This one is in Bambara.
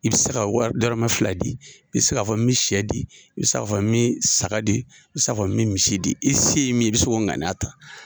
I bɛ se ka wari dɔrɔmɛ fila di, i bɛ se k'a fɔ me sɛ di, i bɛ k'a fɔ me saga di, i bɛ k'a fɔ me misi di. I se ye min ye i bɛ sin k'a ŋaniya ta.